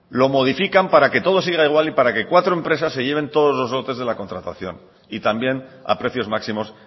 lo modifican para que todo siga igual y para que cuatro empresas se lleven todos los lotes de la contratación y también a precios máximos